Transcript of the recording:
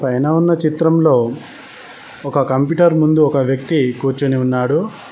పైన ఉన్న చిత్రంలో ఒక కంప్యూటర్ ముందు ఒక వ్యక్తి కూర్చొని ఉన్నాడు.